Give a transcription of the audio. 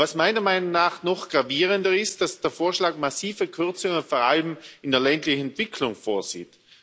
Was meiner Meinung nach noch gravierender ist dass der Vorschlag massive Kürzungen vor allem in der ländlichen Entwicklung vorsieht.